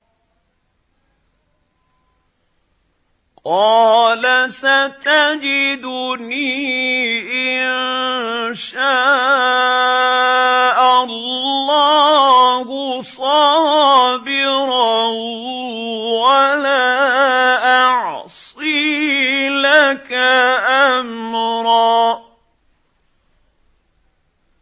قَالَ سَتَجِدُنِي إِن شَاءَ اللَّهُ صَابِرًا وَلَا أَعْصِي لَكَ أَمْرًا